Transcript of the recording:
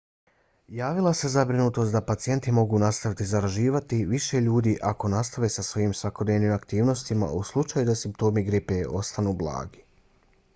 javila se zabrinutost da pacijenti mogu nastaviti zaražavati više ljudi ako nastave sa svojim svakodnevnim aktivnostima u slučaju da simptomi gripe ostanu blagi